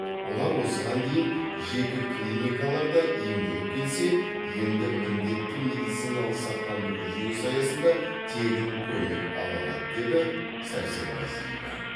олар осыған дейін жеке клиникаларда емделіп келсе енді міндетті медициналық сақтандыру жүйесі аясында тегін көмек ала алады деді сәрсенғазиева